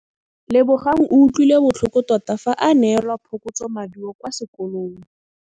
Lebogang o utlwile botlhoko tota fa a neelwa phokotsômaduô kwa sekolong.